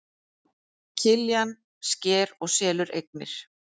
Kirkjan sker og selur eignir